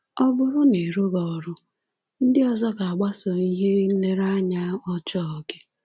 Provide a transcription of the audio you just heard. “Ọ bụrụ na ị rụghị ọrụ, ndị ọzọ ga-agbaso ihe nlereanya ọjọọ gị!”